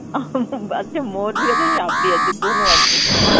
আচ্ছা Hindi আছে, সাপ Hindi আছে, Hindi আছে.